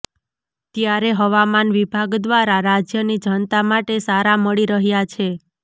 ત્યારે હવામાન વિભાગ દ્વારા રાજ્યની જનતા માટે સારા મળી રહ્યાં છે